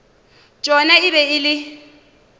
tšona e be e le